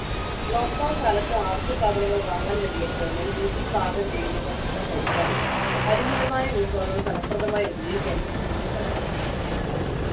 lockdown കാലത്ത് ആവിശ്യ സാധങ്ങൾ വാങ്ങാൻ കഴിയാത്തതിനാൽ വീട്ടിൽ പാകം ചെയ്യുന്ന ഭക്ഷണം കഴിക്കാനും പരിമിതമായ വിഭവങ്ങൾ ഫലപ്രദമായി ഉപയോഗിക്കുവാനും കുട്ടികൾ പഠിച്ചു